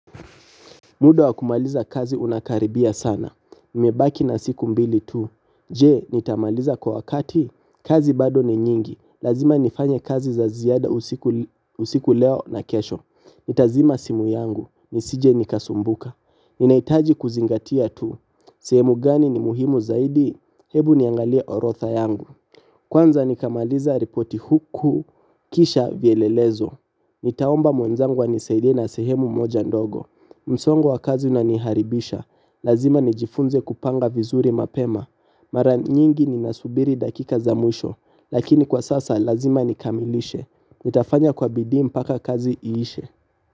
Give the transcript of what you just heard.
Muda wa kumaliza kazi unakaribia sana. Nimebaki na siku mbili tu. Je, nitamaliza kwa wakati? Kazi bado ni nyingi. Lazima nifanye kazi za ziada usiku leo na kesho. Nitazima simu yangu. Nisije nikasumbuka. Ninahitaji kuzingatia tu. Sehemu gani ni muhimu zaidi? Hebu niangalie orotha yangu. Kwanza nikamaliza ripoti huku. Kisha vielelezo. Nitaomba mwenzangu anisaidie na sehemu moja ndogo. Msongo wa kazi unaniharibisha. Lazima nijifunze kupanga vizuri mapema. Mara nyingi ninasubiri dakika za mwisho. Lakini kwa sasa lazima nikamilishe. Nitafanya kwa bidii mpaka kazi iishe.